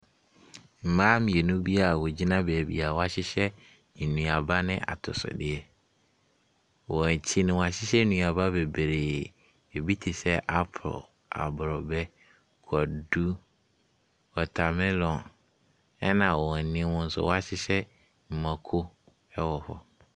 Mmaa mmienu bi a wɔgyina baabi a wɔahyehyɛ nnuaba ne atosodeɛ, wɔn akyi no, wɔhyehyɛ nnuaba bebree. Ɛbi te sɛ apple, aborɔbɛ, kwadu, watermelon. Ɛna wɔn anim nso wɔahyehyɛ mako wɔ hɔ.